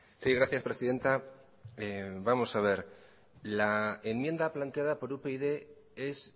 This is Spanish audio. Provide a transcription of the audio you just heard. sí gracias presidenta vamos a ver la enmienda planteada por upyd es